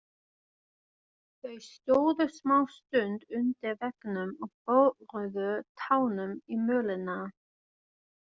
Þau stóðu smástund undir veggnum og boruðu tánum í mölina.